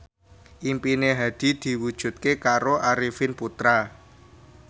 impine Hadi diwujudke karo Arifin Putra